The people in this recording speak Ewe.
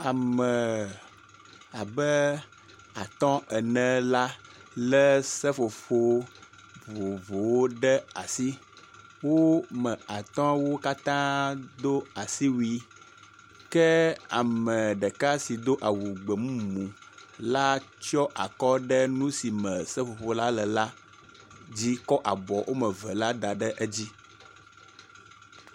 Ame abe atɔ ene la, le seƒoƒo vovowo ɖe asi wo me atɔwo katã do asiwui ke ame ɖeka si do awu gbemumu la tsɔ akɔ ɖe nu si me seƒoƒo la le al dzi kɔ abɔ wɔm eve kɔ da ɖe dzi.